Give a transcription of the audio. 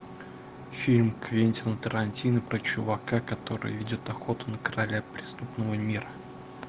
фильм квентина тарантино про чувака который ведет охоту на короля преступного мира